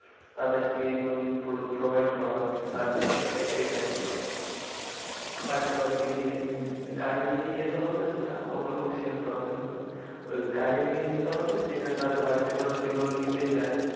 তাদেরকে loan provide করা তার জন্য এটা এ করেছি। বাড়িতে বাড়িতে গিয়ে, হম গাড়ি নিয়ে যেতে হবে সেটা ওখানে same problem নয়। ওই গাড়ি নিয়ে যেতে হবে সেখানে তাদের বাড়িতে ধরো সে loan নিতে চায়